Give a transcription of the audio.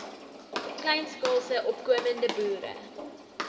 kleinskaalse opkomende boere